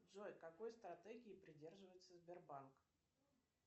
джой какой стратегии придерживается сбербанк